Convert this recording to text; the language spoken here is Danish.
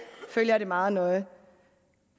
følger det meget nøje